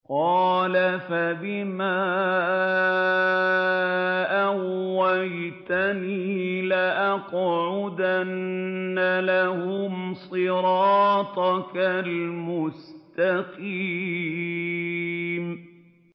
قَالَ فَبِمَا أَغْوَيْتَنِي لَأَقْعُدَنَّ لَهُمْ صِرَاطَكَ الْمُسْتَقِيمَ